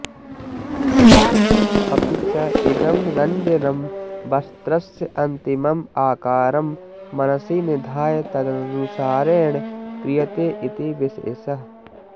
अपि च इदं रञ्जनं वस्त्रस्य अन्तिमम् आकारं मनसि निधाय तदनुसारेण क्रियते इति विशेषः